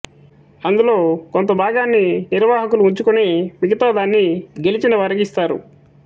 అందులో కొంత భాగాన్ని నిర్వహకులు వుంచుకొని మిగతా దాన్ని గెలిచిన వారికి ఇస్తారు